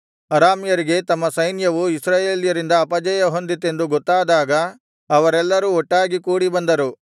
ಅರಾಮ್ಯರಿಗೆ ತಮ್ಮ ಸೈನ್ಯವು ಇಸ್ರಾಯೇಲ್ಯರಿಂದ ಅಪಜಯಹೊಂದಿತೆಂದು ಗೊತ್ತಾದಾಗ ಅವರೆಲ್ಲರೂ ಒಟ್ಟಾಗಿ ಕೂಡಿಬಂದರು